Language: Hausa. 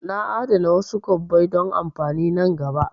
Na a'dana wasu kwabbai don amfani nan gaba